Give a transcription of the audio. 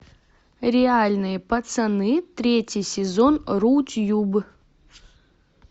реальные пацаны третий сезон рутьюб